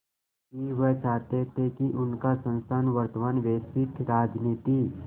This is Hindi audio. कि वह चाहते थे कि उनका संस्थान वर्तमान वैश्विक राजनीति